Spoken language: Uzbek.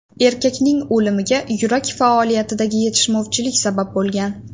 Erkakning o‘limiga yurak faoliyatidagi yetishmovchilik sabab bo‘lgan.